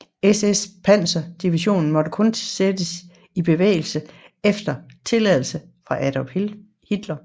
SS panserdivision måtte kun sættes i bevægelses efter tilladelse fra Adolf Hitler